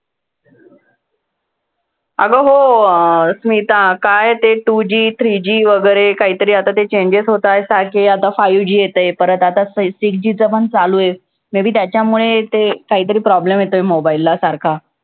अगं हो अं स्मिता काय ते two G, three G वैगरे काय ते changes होताहेत. five G येतंय परत आता six G चं चालू आहे. may be त्याच्यामुळे ते कायतरी problem येतोय mobile ला सारखा.